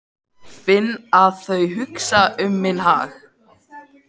Finn að þau hugsa um minn hag.